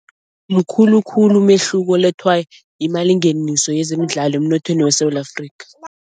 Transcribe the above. Mukhulu khulu umehluko olethwa yimalingeniso yezemidlalo emnothweni weSewula Afrika.